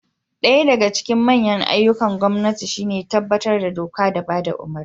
Daya daga cikin manyan ayyukan gwamnati shi ne tabbatar da doka da bada umurni